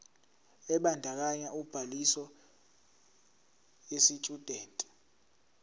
ebandakanya ubhaliso yesitshudeni